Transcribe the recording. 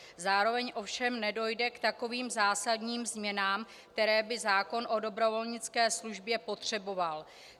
Zároveň ovšem nedojde k takovým zásadním změnám, které by zákon o dobrovolnické službě potřeboval.